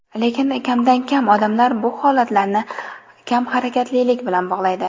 Lekin kamdan-kam odamlar bu holatlarni kamharakatlilik bilan bog‘laydi.